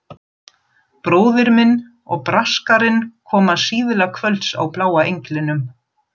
Bróðir minn og Braskarinn koma síðla kvölds á Bláa englinum.